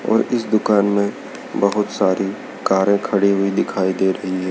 और इस दुकान में बहुत सारी कारे खड़ी हुई दिखाई दे रही है।